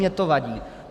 Mně to vadí.